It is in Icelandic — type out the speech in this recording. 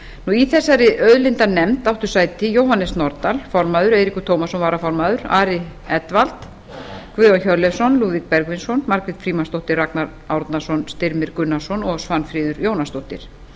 í þessari auðlindanefnd áttu sæti jóhannes nordal formaður eiríkur tómasson varaformaður ari edwald guðjón hjörleifsson lúðvík bergvinsson margrét frímannsdóttir ragnar árnason styrmir gunnarsson og svanfríður jónasdóttir